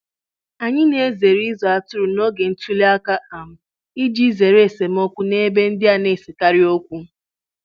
Anyị na-ezere ịzụ atụrụ n'oge ntuli aka um iji zere esemokwu n'ebe ndị a na-esekarị okwu. um